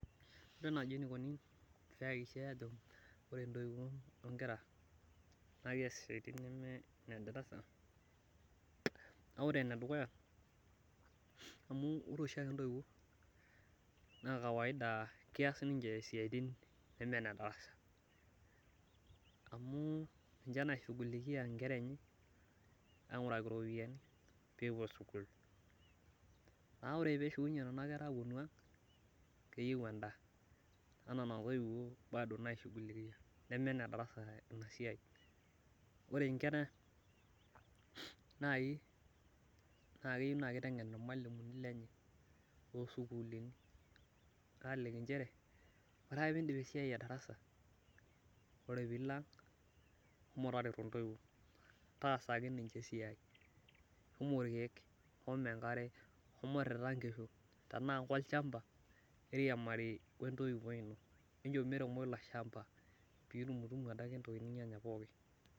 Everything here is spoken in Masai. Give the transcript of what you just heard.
Ore naaji enikoni pee eyakikishae ajo ore ntoiwuo onkera, pee ees siatin edarasa ,na ore enedukuya ore oshiake ninche ntoiwuo naa kees siatini neme nedarasa ,amu ninche naishugulikia nkera enye ainguraki ropiyiani pee epuo sukul. Naa ore pee epuo nena kera ashukunye ang, keyieu endaa naa nena toiwuo bado naishugulikia ,neme enedarasa ina siai. Ore nkera naaji naa keyieu naa kitengen irmalimuni lenye toosukulini aliki nchere, ore ake pee indip esiai edarasa, ore pee ilo ang shomo tareto ntoiwuo. Taasaki ninche esiai, shomo irkeek ,shomo enkare ,shomo irita nkishu tenaa kolchampa eriamari intoiwuo ino enchom eremo ilo shampa pee itumtumu adake ntoki ninyanya pookin.